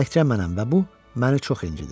Təkcə mənəm və bu məni çox incidir.